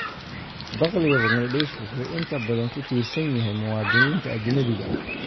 Dakhliga Bangladesh wuxuu inta badan ku tiirsan yahay muwaadiniinta ajnabiga ah.